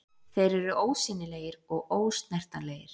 Þeir eru ósýnilegir og ósnertanlegir.